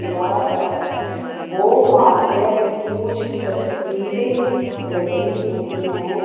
दीवार पर बो मारिया की कुछ तस्वीरें लगी हुई हैं।